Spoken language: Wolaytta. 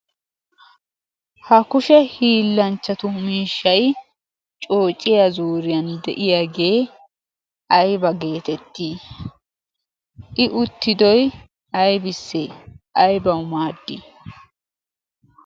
Ha kushe hiillanchchatu miishshay coociya zuuriyan de'iyagee I aybabgeetettii?I uttidiy aybissee? aybawu maaddii?